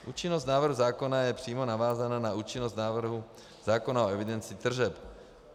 Účinnost návrhu zákona je přímo navázána na účinnost návrhu zákona o evidenci tržeb.